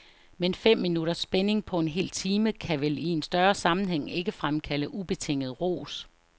Men fem minutters spænding på en hel time, kan vel i en større sammenhæng ikke fremkalde ubetinget ros.